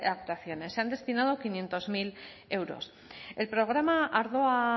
actuaciones se han destinado quinientos mil euros el programa ardoa